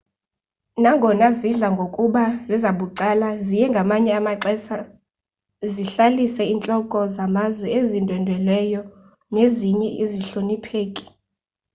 nangonga zidla ngokuba zezabucala ziye ngamanye amaxesha zihlalise intloko zamazwe ezindwendweleyo nezinye izihlonipheki